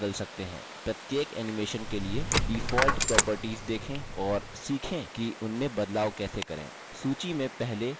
प्रत्येक animation के लिए default properties देखें और सीखें कि उनमें बदलाव कैसे करें